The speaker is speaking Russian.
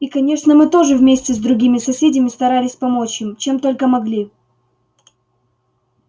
и конечно мы тоже вместе с другими соседями старались помочь им чем только могли